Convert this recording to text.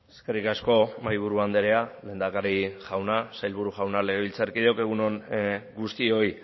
eskerrik asko mahaiburu andrea lehendakari jauna sailburu jauna legebiltzarkideok egun on guztioi